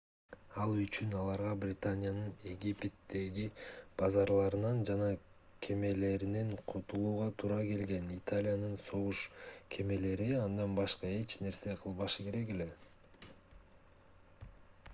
ал үчүн аларга британиянын египеттеги базаларынан жана кемелеринен кутулууга туура келген италиянын согуш кемелери андан башка эч нерсе кылбашы керек эле